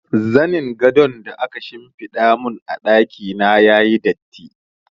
Zanin gadon da aka shimfiɗa mun a ɗaki na yayi datti.